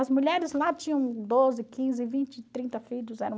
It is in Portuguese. As mulheres lá tinham doze, quinze, vinte, trinta filhos. Eram...